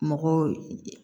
Mɔgɔw